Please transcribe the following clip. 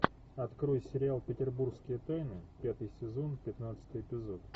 открой сериал петербургские тайны пятый сезон пятнадцатый эпизод